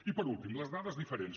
i per últim les dades diferents